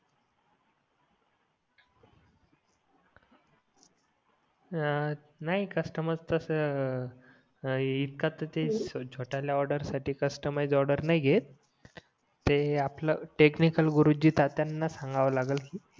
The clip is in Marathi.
हां नाही कस्टमर तस इतका तर ते छोटा ले ऑर्डर साठी कस्टमाइझ ऑर्डर नाही घेत ते आपला टेकनिकाल गुरुजी ताटायन सांगावा लागेल